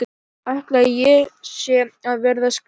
Ætli ég sé að verða skrýtin.